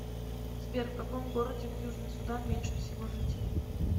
сбер в каком городе в южный судан меньше всего жителей